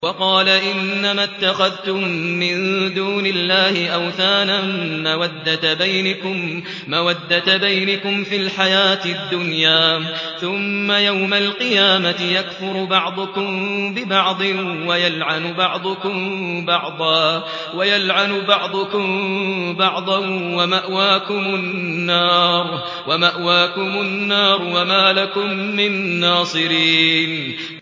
وَقَالَ إِنَّمَا اتَّخَذْتُم مِّن دُونِ اللَّهِ أَوْثَانًا مَّوَدَّةَ بَيْنِكُمْ فِي الْحَيَاةِ الدُّنْيَا ۖ ثُمَّ يَوْمَ الْقِيَامَةِ يَكْفُرُ بَعْضُكُم بِبَعْضٍ وَيَلْعَنُ بَعْضُكُم بَعْضًا وَمَأْوَاكُمُ النَّارُ وَمَا لَكُم مِّن نَّاصِرِينَ